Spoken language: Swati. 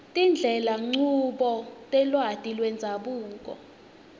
tindlelanchubo telwati lwendzabuko